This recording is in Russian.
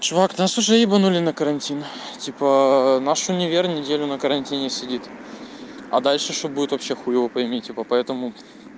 чувак нас тоже ебанули на карантин типа наш универ неделю на карантине сидит а дальше что будет вообще хуй его пойми поэтому